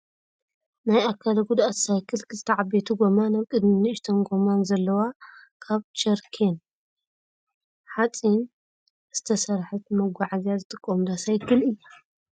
ናይ ኣካለ ጉዳኣት ሳይክል ክልተ ዓበይቲ ጎማን ኣብ ቅድሚት ንእሽተይ ጎማን ዘለዋ ካብ ቾርኬን ሓፂንን ዝተሰረሓት ንመጓዓዓዝያ ዝጥቀሙላ ሳይክል እያ።